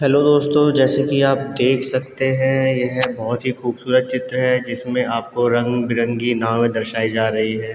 Hello दोस्तों जैसे की आप देख सकते हैं यह बहौत ही खूबसूरत चित्र है जिसमे आपको रंग-बेरंगी नावें दर्शाई जा रही हैं।